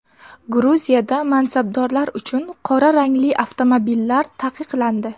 Gruziyada mansabdorlar uchun qora rangli avtomobillar taqiqlandi.